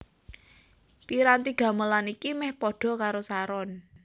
Piranti gamelan iki meh padha karo saron